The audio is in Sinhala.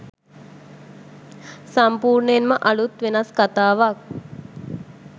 සම්පූර්ණයෙන්ම අලුත් වෙනස් කතාවක්